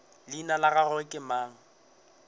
leina la gagwe ke mang